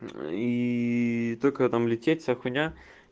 и только там лететь вся хуйня